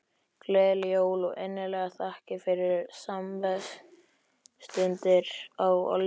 Gleðileg jól og innilegar þakkir fyrir samverustundir á liðnu ári.